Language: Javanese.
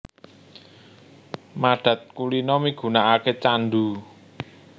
Madhat kulina migunaake candhu